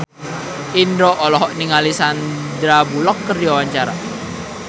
Indro olohok ningali Sandar Bullock keur diwawancara